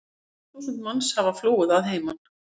Mörg þúsund manns hafa flúið að heiman.